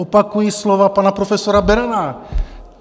Opakuji slova pana profesora Berana.